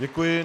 Děkuji.